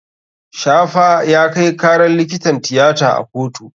Shafa ya kai karar likitan tiyata a kotu.